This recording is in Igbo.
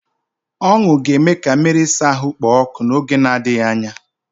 Ọṅụ ga-eme ka mmiri ịsa ahụ kpoo ọkụ n'oge na-adịghị anya.